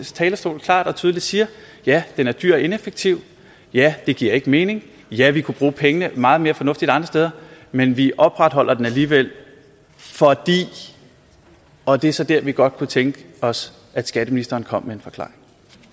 talerstol klart og tydeligt siger ja den er dyr og ineffektiv ja det giver ikke mening ja vi kunne bruge pengene meget mere fornuftigt andre steder men vi opretholder den alligevel fordi og det er så der vi godt kunne tænke os at skatteministeren kom med en forklaring